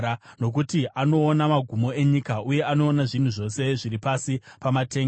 nokuti anoona magumo enyika, uye anoona zvinhu zvose zviri pasi pamatenga.